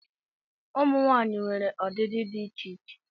Ụmụ nwanyị nwere ọdịdị dị iche iche